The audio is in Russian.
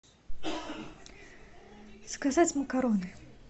заказать макароны